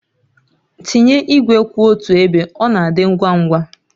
Tinye igwe kwụ otu ebe, ọ na-adị ngwa ngwa